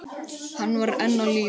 Hann var enn á lífi.